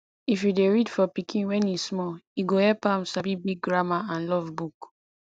if u dey read for pikin when e small e go help am sabi big grammar and love book